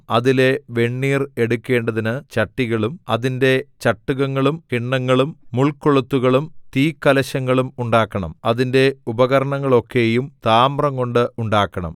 അതിലെ വെണ്ണീർ എടുക്കേണ്ടതിന് ചട്ടികളും അതിന്റെ ചട്ടുകങ്ങളും കിണ്ണങ്ങളും മുൾകൊളുത്തുകളും തീക്കലശങ്ങളും ഉണ്ടാക്കണം അതിന്റെ ഉപകരണങ്ങളൊക്കെയും താമ്രംകൊണ്ട് ഉണ്ടാക്കണം